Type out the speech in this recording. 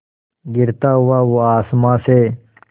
गिरता हुआ वो आसमां से